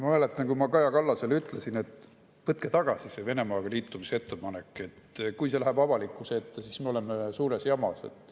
Ma mäletan, kui ma Kaja Kallasele ütlesin, et võtku tagasi see Venemaaga liitumise ettepanek, sest kui see läheb avalikkuse ette, siis me oleme suures jamas.